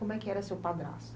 Como é que era seu padrasto?